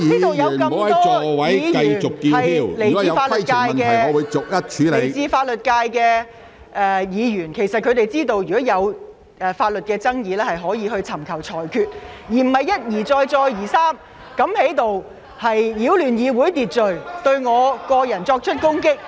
本會有很多來自法律界的議員，他們應該明白，如有法律爭議，理應尋求裁決，而不應一而再、再而三在此擾亂議會秩序，對我作出人身攻擊。